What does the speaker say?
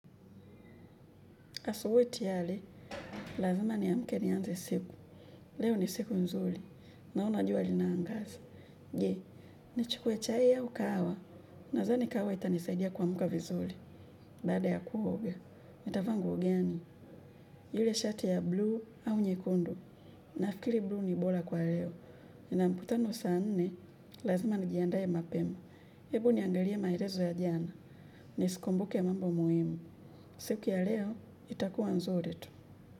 Asubui tiyari, lazima niamke nianze siku. Leo ni siku nzuli. Naona jua linaangazi. Je, nichukue chai au kahawa? Nazani kahawa itanisaidia kuamka vizuli. Baada ya kuoga. Nitavaa nguo gani? Ile shati ya bluu au nyekundu? Nafikiri bluu ni bora kwa leo. Ninamkutano saa nne, lazima nijiandae mapema. Hebu niangarie maerezo ya jana. Nisikumbuke mambo muhimu. Siku ya leo, itakuwa nzuli tu.